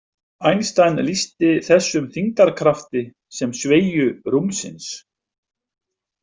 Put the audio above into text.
Einstein lýsti þessum þyngdarkrafti sem sveigju rúmsins.